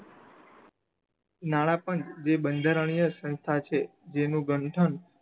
નાણા પણ એ બંધારણીય સંસ્થા છે જેનું ગંઠન